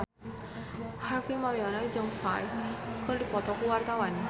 Harvey Malaiholo jeung Psy keur dipoto ku wartawan